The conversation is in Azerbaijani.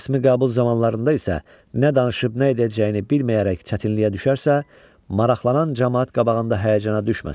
Rəsmi qəbul zamanlarında isə nə danışıb nə edəcəyini bilməyərək çətinliyə düşərsə, maraqlanan camaat qabağında həyəcana düşməsin.